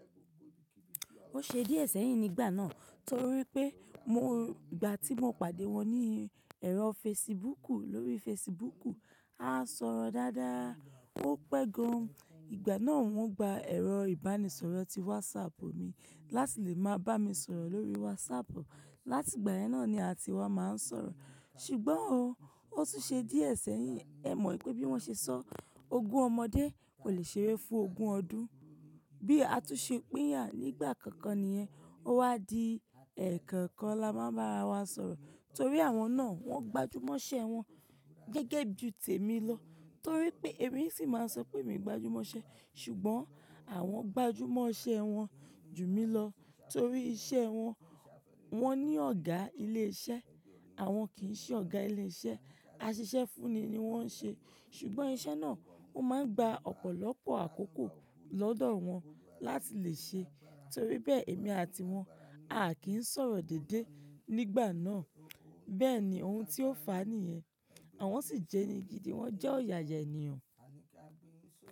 Ó ṣe díẹ̀ sẹ́yìn nígbà náà torí pé mo, ìgbà tí mo pàdé wọn ní ẹ̀rọ fesibúùkù lórí fesibúùkù, a sọ̀rọ̀ dáadáa, ó pẹ́ gàn. Ìgbà náà wọ́n gba ẹ̀rọ ìbánisọ̀rọ̀ ti wásapù mi láti lè máa bá mi sọ̀rọ̀ lórí wásapù. Láti ìgbà yẹn náà ni a ti wá máa ń sọ̀rọ̀. Ṣùgbọ́n òún, ó tún ṣe díẹ̀ sẹ́yìn. Ẹ mọ̀ pé bí wọ́n ṣe sọ, ogún ọmọdé kò lè ṣeré fún ogún ọdún. Bí a tún ṣe pín yà nígbà kankan nìyẹn, ó wá di ẹ̀kọ̀kan la máa ń bá ara wa sọ̀rọ̀ torí àwọn náà wọ́n gbajúmọ̀ iṣẹ́ wọn gẹ́gẹ́ bí tèmi lọ torí pé èmi sì máa ń sọ pé èmi gbajúmọ̀ iṣẹ́. Ṣùgbọ́n àwọn gbajúmọ̀ iṣẹ́ wọn jù mí lọ torí iṣẹ́ wọn, wọ́n ní ọ̀gá ilé iṣẹ́, àwọn kì í ṣe ọ̀gá ilé iṣẹ́, a ṣiṣẹ́ fún ni ní wọ́n ń ṣe. Ṣùgbọ́n iṣẹ́ náà ó máa ń gba ọ̀pọ̀lọpọ̀ àkókò lọ́dọ̀ wọn láti lè ṣe. Torí bẹ́ẹ̀ èmi àti wọn a kì n sọ̀rọ̀ déédéé nígbà náà. Bẹ́ẹ̀ ni ohun tí ó fàá nìyẹn. Àwọn sì jẹni gidi, wọ́n jẹ́ ọ̀yààyà ènìyàn.